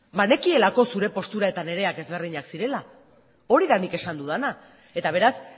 banekielako zure postura eta nirea ezberdinak zirela hori da nik esan dudana eta beraz